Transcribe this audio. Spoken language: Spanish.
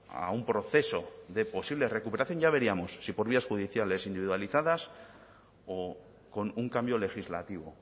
a un proceso de posible recuperación ya veríamos si por vías judiciales individualizadas o con un cambio legislativo